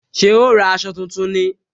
Ṣé o ra aṣọ tuntun ni